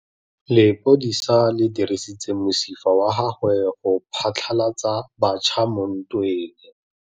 Lepodisa le dirisitse mosifa wa gagwe go phatlalatsa batšha mo ntweng.